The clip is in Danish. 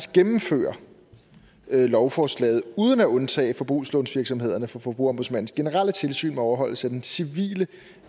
gennemføre lovforslaget uden at undtage forbrugslånsvirksomhederne fra forbrugerombudsmandens generelle tilsyn med overholdelse af den civile